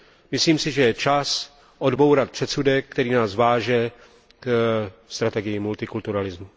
Myslím si, že je čas odbourat předsudek, který nás váže ke strategii multikulturalismu.